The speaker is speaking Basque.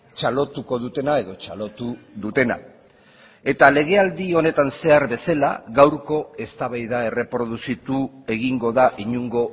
txalotuko dutena edo txalotu dutena eta legealdi honetan zehar bezala gaurko eztabaida erreproduzitu egingo da inongo